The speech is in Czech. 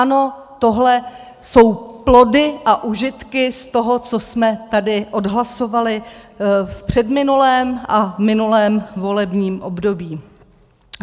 Ano, tohle jsou plody a užitky z toho, co jsme tady odhlasovali v předminulém a minulém volebním období.